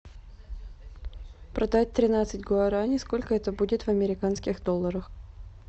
продать тринадцать гуарани сколько это будет в американских долларах